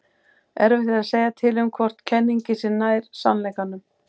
erfitt er að segja til um hvor kenningin sé nær sannleikanum